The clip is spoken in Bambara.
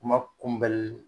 Kuma kunbɛli